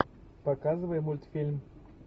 показывай мультфильм